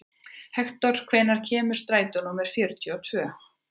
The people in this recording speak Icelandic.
Hektor, hvenær kemur strætó númer fjörutíu og tvö?